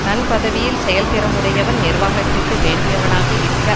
தன் பதவியில் செயல் திறம் உடையவன் நிர்வாகத்திற்கு வேண்டியவனாக இருக்க